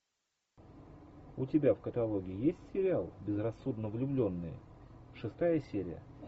у тебя в каталоге есть сериал безрассудно влюбленные шестая серия